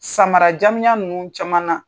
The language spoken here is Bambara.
Samara jamijan ninnu caman na